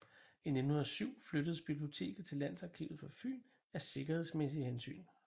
I 1907 flyttedes biblioteket til Landsarkivet for Fyn af sikkerhedsmæssige hensyn